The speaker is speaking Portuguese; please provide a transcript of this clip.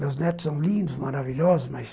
Meus netos são lindos, maravilhosos, mas...